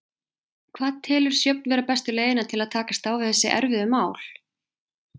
Hvað telur Sjöfn vera bestu leiðina til þess að takast á við þessi erfiðu mál?